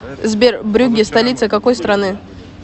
сбер брюгге столица какой страны